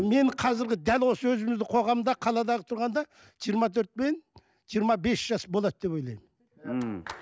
мен қазіргі дәл осы өзіміздің қоғамда қалада тұрғанда жиырма төрт пен жиырма бес жас болады деп ойлаймын мхм